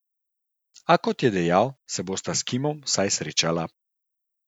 A kot je dejal, se bosta s Kimom vsaj srečala.